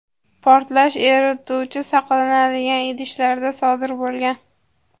portlash erituvchi saqlanadigan idishlarda sodir bo‘lgan.